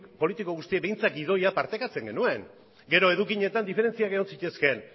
politiko guztiek behintzat gidoia partekatzen genuen gero edukietan diferentziak egon zitezkeen